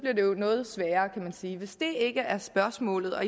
jo noget sværere kan man sige hvis det ikke er spørgsmålet